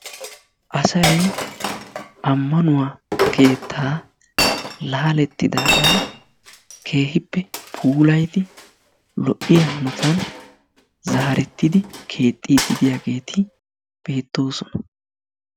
Asay amanuwaa keetta laalettidaga keehippe puulaydi lo'iyaa hanottan zaaretidi keexidi de'iyaagetti beettosona.